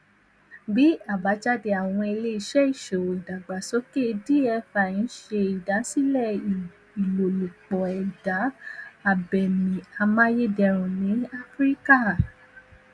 bi abajade awọn ileiṣẹ iṣowo idagbasoke dfi n ṣe idasilẹ ilolupo eda abemi amayederun ni afirika